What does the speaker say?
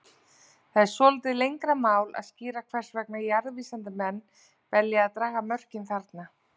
Það er svolítið lengra mál að skýra hvers vegna jarðvísindamenn velja að draga mörkin þarna.